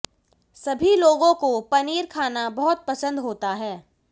सभी लोगों को पनीर खाना बहुत पसंद होता है